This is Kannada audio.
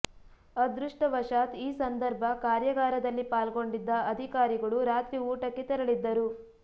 ಅದೃಷ್ಟವಶಾತ್ ಈ ಸಂದರ್ಭ ಕಾರ್ಯಾಗಾರದಲ್ಲಿ ಪಾಲ್ಗೊಂಡಿದ್ದ ಅಧಿಕಾರಿಗಳು ರಾತ್ರಿ ಊಟಕ್ಕೆ ತೆರಳಿದ್ದರು